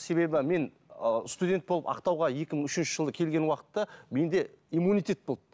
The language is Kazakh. себебі мен ыыы студент болып ақтауға екі мың үшінші жылы келген уақытта менде иммунитет болды